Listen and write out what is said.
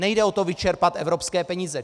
Nejde o to vyčerpat evropské peníze.